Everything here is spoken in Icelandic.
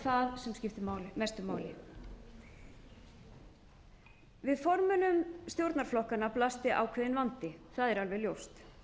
það sem skiptir mestu máli við formönnum stjórnarflokkanna blasti ákveðinn vandi það er alveg ljóst